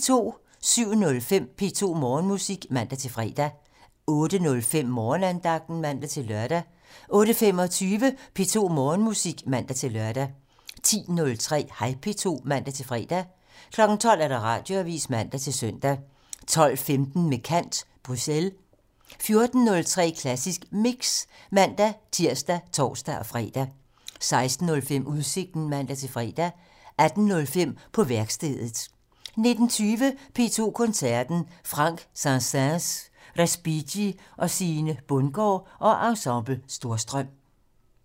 07:05: P2 Morgenmusik (man-fre) 08:05: Morgenandagten (man-lør) 08:25: P2 Morgenmusik (man-lør) 10:03: Hej P2 (man-fre) 12:00: Radioavisen (man-søn) 12:15: Med kant - Bruxelles 14:03: Klassisk Mix (man-tir og tor-fre) 16:05: Udsigten (man-fre) 18:05: På værkstedet (man) 19:20: P2 Koncerten - Franck, Saint-Säens og Respighi med Sine Bundgaard og Ensemble Storstrøm